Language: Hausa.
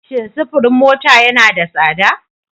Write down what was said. Shin sufurin mota yana da tsada?